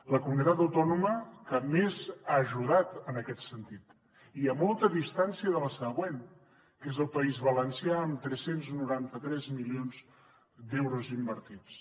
la comunitat autònoma que més ha ajudat en aquest sentit i a molta distància de la següent que és el país valencià amb tres cents i noranta tres milions d’euros invertits